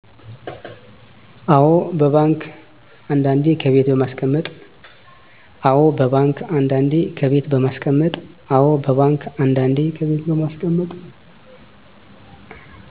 አዎ በባንክ አንዳንዴ ከቤት በማስቀመጥ